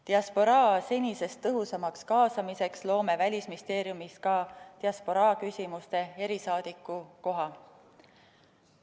Diasporaa senisest tõhusamaks kaasamiseks loome Välisministeeriumis ka diasporaa küsimuste erisaadiku koha.